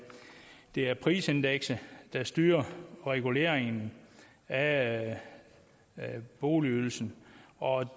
er prisindekset der styrer reguleringen af boligydelsen og